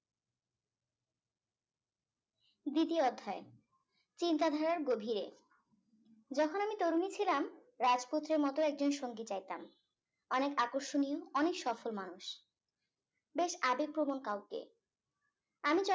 দ্বিতীয় অধ্যায় চিন্তা ধারার গভীরে যখন আমি তরুণী ছিলাম রাজপুত্রের মতো একজন সঙ্গী চাইতাম অনেক আকর্ষণীয় অনেক সফল মানুষ বেশ আবেগ প্রবন কাউকে আমি